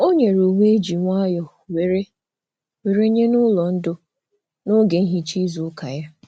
O nyere uwe eji nwayọ were were nye n'ụlọ ndo n'oge nhicha izu ụka ya.